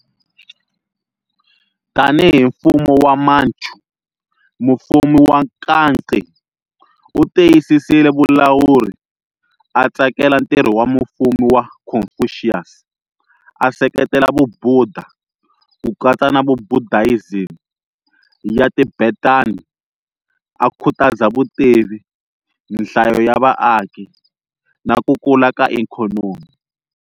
Tanihi mfumo wa Manchu, Mufumi wa Kangxi, 1661-1722, u tiyisisile vulawuri, a tsakela ntirho wa mufumi wa Confucius, a seketela Vubudha, ku katsa na Buddhism ya Tibetan, a khutaza vutivi, nhlayo ya vaaki na ku kula ka ikhonomi.